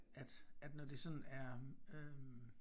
At at når det sådan er øh